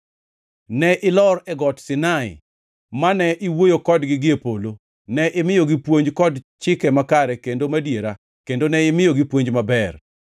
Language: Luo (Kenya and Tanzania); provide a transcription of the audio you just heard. “Ne ilor e Got Sinai; mane iwuoyo kodgi gie polo. Ne imiyogi puonj kod chike makare kendo madiera kendo ne imiyogi puonj maber.